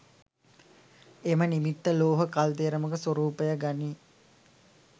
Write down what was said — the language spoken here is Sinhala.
එම නිමිත්ත ලෝහ කල්දේරමක ස්වරූපය ගනී.